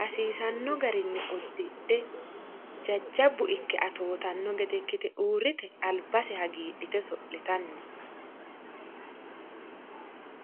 Hasiisanno garinni uddidhe jajabbu ikke atootanno gede ikkite urrite albase hagiidhite oso'litanni no.